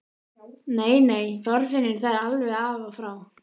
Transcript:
Nei, nei, Þorfinnur, það er alveg af og frá!